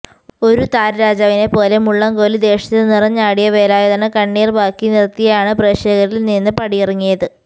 ഒരു താരരാജവിനെപ്പോലെ മുള്ളംക്കൊല്ലി ദേശത്ത് നിറഞ്ഞാടിയ വേലായുധന് കണ്ണീര് ബാക്കി നിര്ത്തിയാണ് പ്രേക്ഷകരില് നിന്ന് പടിയിറങ്ങിയത്